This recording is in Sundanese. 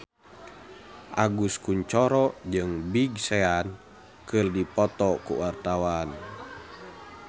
Agus Kuncoro jeung Big Sean keur dipoto ku wartawan